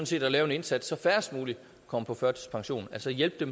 set at lave en indsats så færrest mulige kommer på førtidspension altså hjælpe